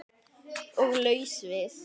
Og laus við